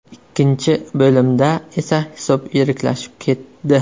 Ikkinchi bo‘limda esa hisob yiriklashib ketdi.